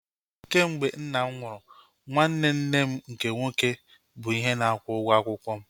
Kemgbe nna m nwụrụ, nwanne nne m nke nwoke bụ ihe na-akwụ ụgwọ akwụkwọ m